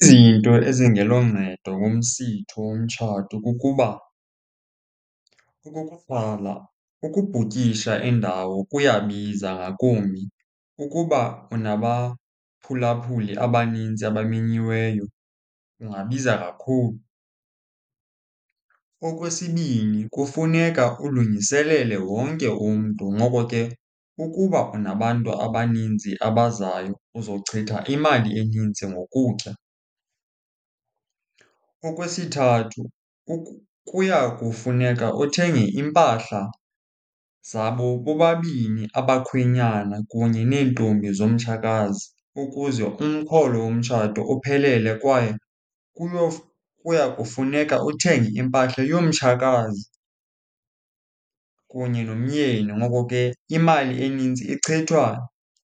Izinto ezingeloncedo kumsitho womtshato kukuba, okokuqala, ukubhukisha indawo kuyabiza, ngakumbi ukuba unabaphulaphuli abanintsi abamenyiweyo ungabiza kakhulu. Okwesibini, kufuneka ulungiselele wonke umntu. Ngoko ke ukuba unabantu abaninzi abazayo uzochitha imali eninzi ngokutya. Okwesithathu, kuya kufuneka uthenge iimpahla zabo bobabini abakhwenyana kunye neentombi zomtshakazi ukuze umxholo womtshato uphelele. Kwaye kuya kufuneka uthenge impahla yomtshakazi kunye nomyeni. Ngoko ke imali enintsi ichithwa